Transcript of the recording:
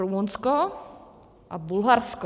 Rumunsko a Bulharsko.